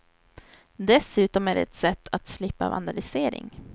Dessutom är det ett sätt att slippa vandalisering.